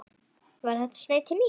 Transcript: Var þetta sneið til mín?